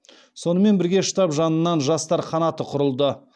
сонымен бірге штаб жанынан жастар қанаты құрылды